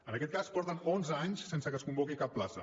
en aquest cas porten onze anys sense que es convoqui cap plaça